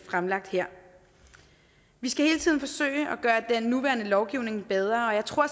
fremlagt her vi skal hele tiden forsøge at gøre den nuværende lovgivning bedre jeg tror